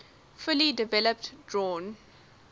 fully developed drawn